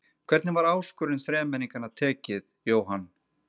Hvernig var áskorun þremenningana tekið, Jóhann?